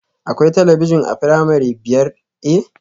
Akwai talabijin a firamare biyar A?